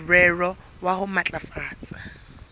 ka morero wa ho matlafatsa